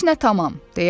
Heç nə tamam.